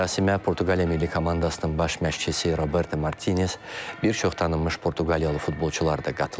Mərasimə Portuqaliya milli komandasının baş məşqçisi Roberto Martinez, bir çox tanınmış Portuqaliyalı futbolçular da qatılıb.